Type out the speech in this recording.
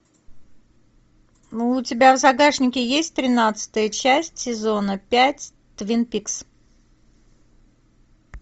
ну у тебя в загашнике есть тринадцатая часть сезона пять твин пикс